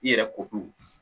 I yɛrɛ ko ko